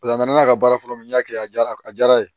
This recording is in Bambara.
a nana n'a ka baara fɔlɔ min ye n y'a kɛ a jara a diyara n ye